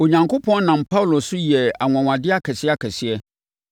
Onyankopɔn nam Paulo so yɛɛ anwanwadeɛ akɛseakɛseɛ,